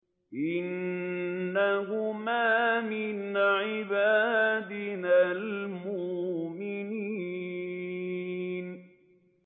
إِنَّهُمَا مِنْ عِبَادِنَا الْمُؤْمِنِينَ